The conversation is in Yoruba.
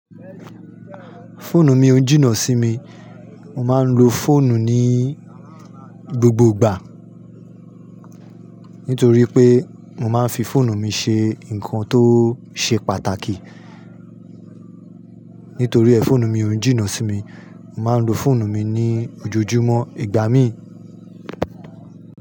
Fóònù mi o n jìnnà sí mi, mo máa n lo fòònù ní gbogbo ìgbà. Nítorí pé mo máa n fi fòònù mi ṣe ǹkan tó ṣe pàtàkì. Nítorí ẹ fóònù mi o n jìnà sími, mo máa ń lo fóònù mi ní ojoojúmọ́, ìgbà mìí.